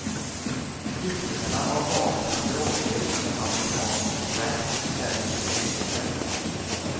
Hyllningarna av vapen och droger inom amerikansk rap är förskräckliga.